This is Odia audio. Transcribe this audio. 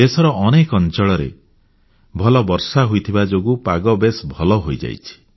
ଦେଶର ଅନେକ ଅଂଚଳରେ ଭଲ ବର୍ଷା ହୋଇଥିବା ଯୋଗୁଁ ପାଗ ବେଶ୍ ଭଲ ରହିଛି